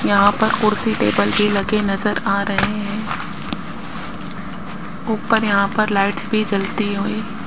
यहां पर कुर्सी टेबल की लगे नजर आ रहे हैं ऊपर यहां पर लाइट्स भी जलती हुई --